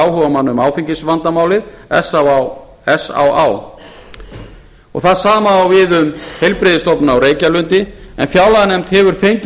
áhugamanna um áfengisvandamálið s á á hið sama á við um heilbrigðisstofnun á reykjalundi en fjárlaganefnd hefur fengið